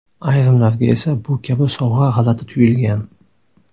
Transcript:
Ayrimlarga esa bu kabi sovg‘a g‘alati tuyulgan.